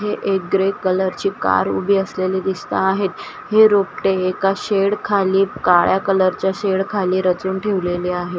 एक ग्रे कलरची कार उभी असलेली दिसत आहेत हे रोपटे एका शेड खाली काळ्या कलरच्या शेड खाली रचून ठेवलेली आहे.